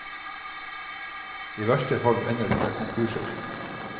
I verste fall ender det med konkurser.